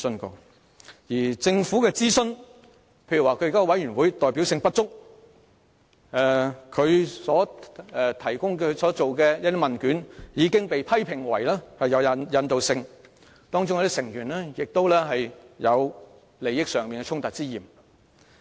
至於政府進行的諮詢，其現有委員會代表性不足，所提供的問卷已遭批評為有引導性，當中亦有成員有利益衝突之嫌。